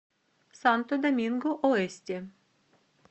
санто доминго оэсте